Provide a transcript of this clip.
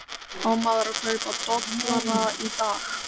Á maður að kaupa dollara í dag?